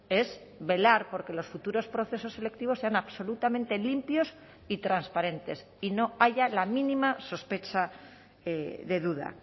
es velar por que los futuros procesos selectivos sean absolutamente limpios y transparentes y no haya la mínima sospecha de duda